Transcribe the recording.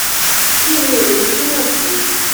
kí ni òyí túmọ̀ sí?